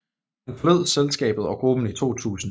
Han forlod selskabet og gruppen i 2000